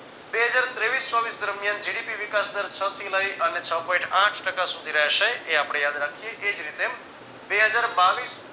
બે હજાર તેવીસ ચોવીસ દરમિયાન GDP વિકાસ દર છ થી લઈ અને છ point આઠ ટકા સુધી રહેશે એ આપણે યાદ રાખીયે એ જ રીતે બે હજાર બાવીસ